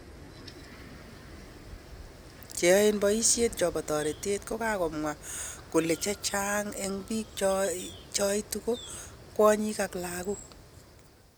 Che yaen paishonik chepo taretet kokamwa kolechechaag en pik cho cheitu ko kwanyik ak lagok